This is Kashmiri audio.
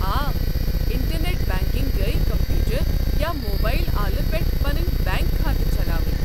آ، انٹر نٮ۪ٹ بنٛکنٛگ گٔیہِ کمپیوٗٹر یا موبایل آلہٕ پٮ۪ٹھہٕ پنٕنۍ بینٛک کھاتہٕ چلاوٕنۍ۔